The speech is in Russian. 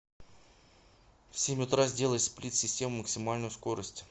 в семь утра сделай сплит система максимальную скорость